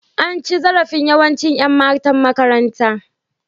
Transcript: An ci zarafin yawanci Yan matan makarantar.